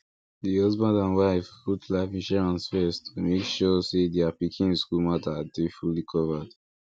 di husband and wife put life insurance first to make sure say their pikin school matter dey fully covered